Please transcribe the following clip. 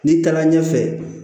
N'i taara ɲɛfɛ